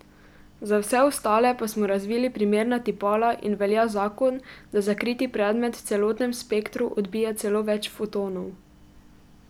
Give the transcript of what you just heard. Za vse ostale pa smo razvili primerna tipala in velja zakon, da zakriti predmet v celotnem spektru odbija celo več fotonov.